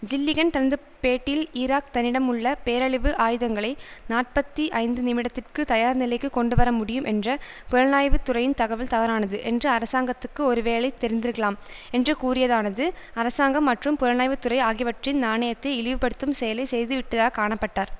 Gilligan தனது பேட்டியில் Iraq தன்னிடமுள்ள பேரழிவு ஆயுதங்களை நாற்பத்தி ஐந்துநிமிடத்திற்கு தயார் நிலைக்கு கொண்டுவர முடியும் என்ற புலனாய்வு துறையின் தகவல் தவறானது என்று அரசாங்கத்துக்கு ஒருவேளை தெரிந்திருக்கலாம் என்று கூறியதானது அரசாங்கம் மற்றும் புலனாய்வுத்துறை ஆகியவற்றின் நாணயத்தை இழிவுபடுத்தும் செயலை செய்துவிட்டதாக் காண பட்டார்